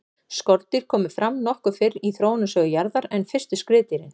skordýr komu fram nokkuð fyrr í þróunarsögu jarðar en fyrstu skriðdýrin